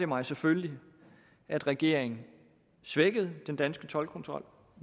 mig selvfølgelig at regeringen svækkede den danske toldkontrol